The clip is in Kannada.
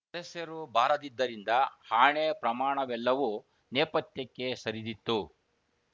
ಸದಸ್ಯರು ಬಾರದಿದ್ದರಿಂದ ಆಣೆ ಪ್ರಮಾಣವೆಲ್ಲವೂ ನೇಪಥ್ಯಕ್ಕೆ ಸರಿದಿತ್ತು